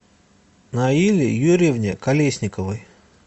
наиле юрьевне колесниковой